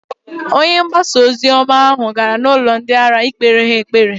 Onye pasitọ ahụ gara n'ụlọ ndị ara ikpere ha ekpere.